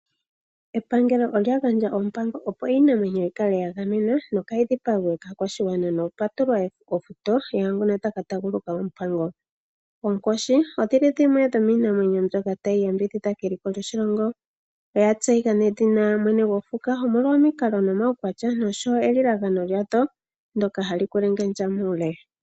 Epangelo olya gandja ompango opo iinamwenyo yikale yagamenwa nokaayi dhipagwe kaakwashigwana. Opwa tula ofuto yaambono taya ka taaguluka ompango. Oonkoshi odhili dhimwe dhomiinamwenyo tayi yambidhidha eliko lyoshilongo. Oya tseyika nawa mwene gwofuka omolwa omikalo nomaukwatya gadho oshowoo elilagano ndyono hali kwelengendja muule.